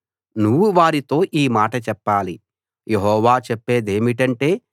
నువ్వు వారితో ఈ మాట చెప్పాలి యెహోవా చెప్పేదేమిటంటే